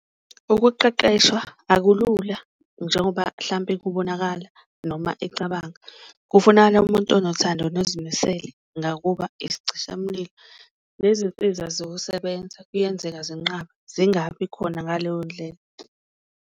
Ukuqeqeshwa akulula njengoba hlampe kubonakala noma ecabanga kufunakala umuntu onothando nozimisele ngakuba isicishamlilo, nezinsiza zokusebenza kuyenzeka zinqabe, zingabi khona ngaleyo ndlela.